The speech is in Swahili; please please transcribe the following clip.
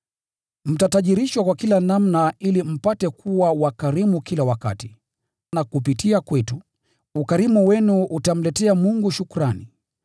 Mtatajirishwa kwa kila namna ili mpate kuwa wakarimu kila wakati, na kupitia kwetu, ukarimu wenu utamletea Mungu shukrani.